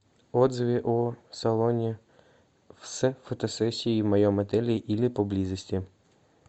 отзывы о салоне с фотосессией в моем отели или поблизости